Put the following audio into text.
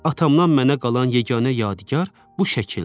Atamdan mənə qalan yeganə yadigar bu şəkildir.